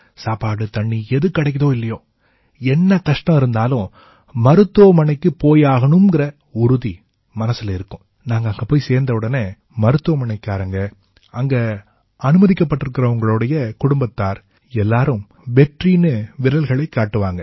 சாப்பாடுதண்ணி எது கிடைக்குதோ இல்லையோ என்ன கஷ்டம் இருந்தாலும் மருத்துவமனைக்குப் போயாகணும்ங்கற உறுதி மனசுல இருக்கும் நாங்க அங்க போய் சேர்ந்தவுடனே மருத்துவமனைக்காரங்க அங்க அனுமதிக்கப்பட்டிருக்கறவங்க குடும்பத்தார் எல்லாம் வெற்றின்னு விரல்கள்ல காட்டுவாங்க